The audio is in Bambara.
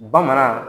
Bamanan